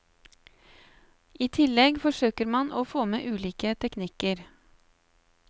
I tillegg forsøker man å få med ulike teknikker.